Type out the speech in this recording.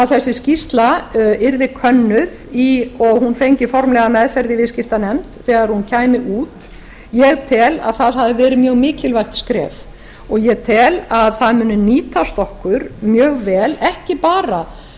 þessi skýrsla yrði könnuð og hún fengi formlega meðferð í viðskiptanefnd þegar hún kæmi út ég tel að það hafi verið mjög mikilvægt skref og ég tel að það muni nýtast okkur mjög vel ekki bara